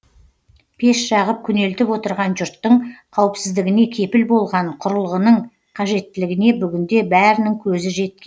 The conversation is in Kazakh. пеш жағып күнелтіп отырған жұрттың қауіпсіздігіне кепіл болған құрылғының қажеттілігіне бүгінде бәрінің көзі жеткен